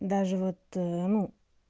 даже вот ну